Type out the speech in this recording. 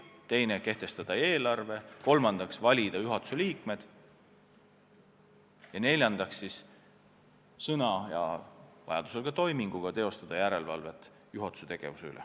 Ka võib ta kehtestada eelarve, kolmandaks valida juhatuse liikmed ja neljandaks teostada järelevalvet juhatuse tegevuse üle.